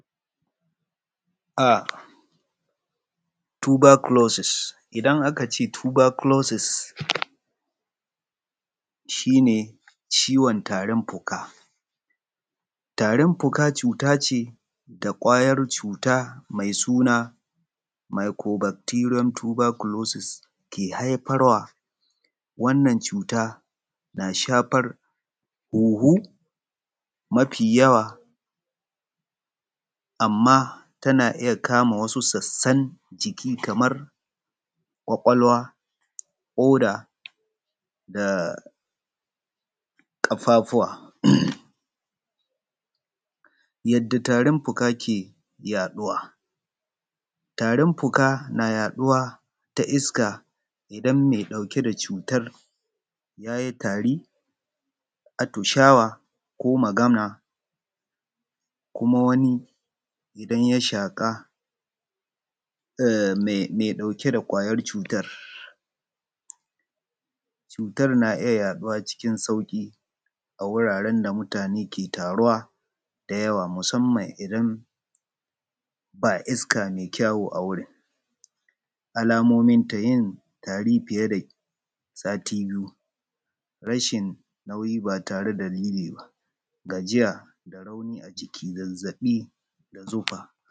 Tuberculosis ciwon tarin fuka, idan aka ce ciwon tarin fuka, cuta ce da ƙwarya cuta mai suna microbecterian Tuberculosis ke haifarwa. Wannan cuta tana shafar hunhu mafi yawa amma tana iya kama wasu sassan jiki kamar ƙwaƙwalwa, koda da ƙafufuwa. Yadda tarin fuka ke yaɗuwa, tarin fuka na yaɗuwar ta iska idan mai ɗauke da cutar ya yi tari, atishawa ko magana kuma wani ya shaƙi iskar mai ɗauke da ƙwayar cutar. Na biyu citar na iya yaɗuwa cikin sauki a inda mutane ke taruwa da yawa musamman idan babu isaka mai ƙyau. Alamomin tarin fuka, na farko yin tari fiye da sati biyu, rashi nauyi ba tare da dalili ba, gajiya zazzaɓi da zufa.